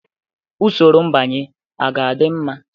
Usoro mbanye a ga-adị mma?